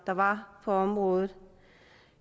der var på området